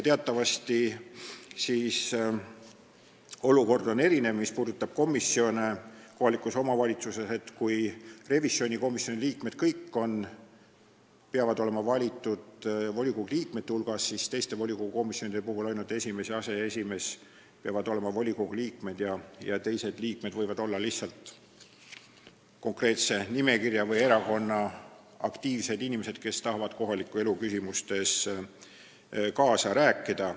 Teatavasti on kohaliku omavalitsuse komisjonide olukord erinev: kõik revisjonikomisjoni liikmed peavad olema valitud volikogu liikmete hulgast, aga teistes komisjonides peavad ainult esimees ja aseesimees olema volikogu liikmed, teised komisjoni liikmed võivad olla lihtsalt konkreetse nimekirja või erakonna aktiivsed inimesed, kes tahavad kohaliku elu küsimustes kaasa rääkida.